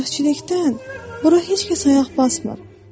Bədbəxtçilikdən bura heç kəs ayaq basmır.